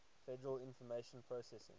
federal information processing